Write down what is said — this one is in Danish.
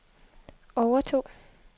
overtog